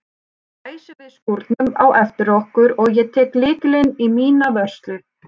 Nú læsum við skúrnum á eftir okkur og ég tek lykilinn í mína vörslu.